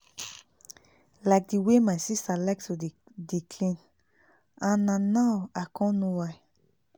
like di way my sister like to dey dey clean and na now i con know why